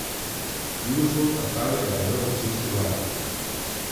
Jugovzhod Avstralije je zajel vročinski val.